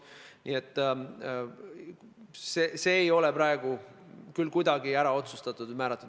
See ei ole praegu küll kuidagi ära otsustatud.